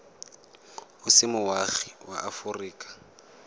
o se moagi wa aforika